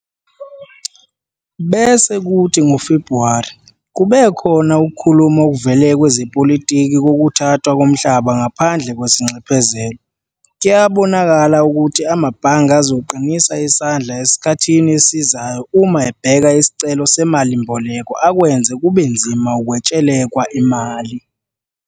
Bese kuthi ngoFebhuwari kube khona ukukhuluma okuvele kwezepolitiki kokuhathwa komhlaba ngaphandle kwesinxephezelo. Kuyabonakala ukuthi amabhange azoqinisa isandla esikhathini esizayo uma ebheka isicelo semalimboleko akwenze kube nzima ukwetshelekwa imali.